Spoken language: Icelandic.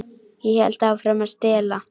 Ég hélt áfram að stela.